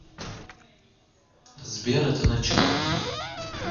сбер это начало